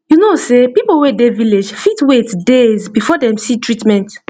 you know sey people wey dey village fit wait days before dem see treatment